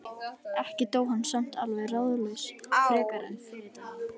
Ekki dó hann samt alveg ráðalaus frekar en fyrri daginn.